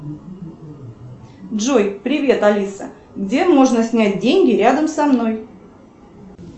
джой привет алиса где можно снять деньги рядом со мной